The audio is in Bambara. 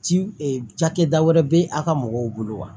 Ci e cakɛda wɛrɛ be a ka mɔgɔw bolo wa